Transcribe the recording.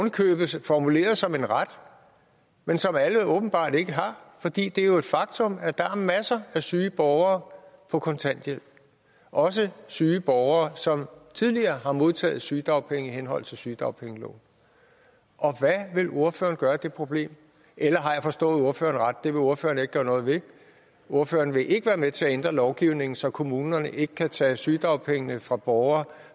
i købet formuleret som en ret men som alle åbenbart ikke har for det er jo et faktum at der er masser af syge borgere på kontanthjælp også syge borgere som tidligere har modtaget sygedagpenge i henhold til sygedagpengeloven og hvad vil ordføreren gøre ved det problem eller har jeg forstået ordføreren det vil ordføreren ikke gøre noget ved ordføreren vil ikke være med til at ændre lovgivningen så kommunerne ikke kan tage sygedagpengene fra borgere